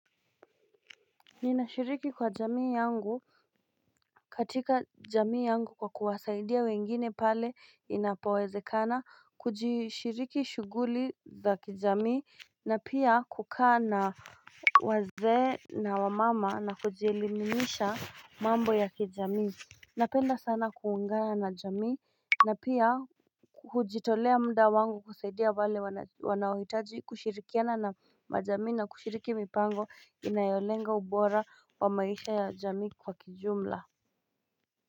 Ninashiriki kwa jamii yangu katika jamii yangu kwa kuwasaidia wengine pale inapawezekana kujishiriki shuguli za kijamii na pia kukana wazee na wamama na kujielimisha mambo ya kijamii Napenda sana kuungana na jami na pia hujitolea muda wangu kusaidia wale wanaohitaji kushirikiana na majamii na kushiriki mipango inayolenga ubora wa maisha ya jamii kwa kijumla.